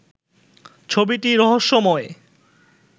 ছবিটি রহস্যময়